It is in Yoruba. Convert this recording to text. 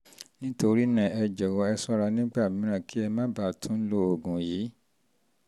nítorí náà ẹ jọ̀wọ́ ẹ ṣọ́ra nígbà mìíràn kí ẹ má bàa tún tún lo oògùn yìí